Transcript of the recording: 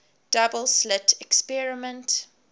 double slit experiment